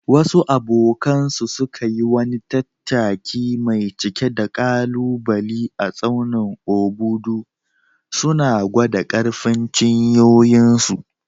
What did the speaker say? Wasu abokanansu suka yi wani tattaki mai cike da ƙalubale a tsaunin Obudu, suna gwada ƙarfin cinyoyinsu.